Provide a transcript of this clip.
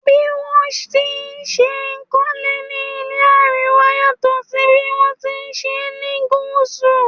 Bí wón ti n ṣe kólé ní ilé Àríwá yàtò sí bí wọn tí ṣe ni Gúsù.